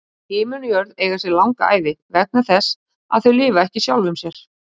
Himinn og jörð eiga sér langa ævi, vegna þess að þau lifa ekki sjálfum sér.